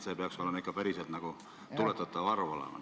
See peaks olema päriselt välja rehkendatav summa.